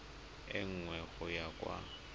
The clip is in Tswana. e nngwe go ya kwa